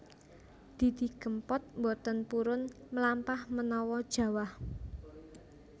Didi Kempot mboten purun mlampah menawa jawah